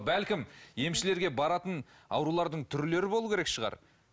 бәлкім емшілерге баратын аурулардың түрлері болуы керек шығар